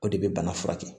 O de bɛ bana furakɛ